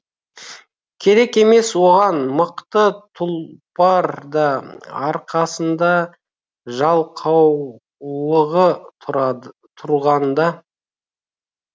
керек емес оған мықты тұлпар да арқасында жалқаулығы тұрғанда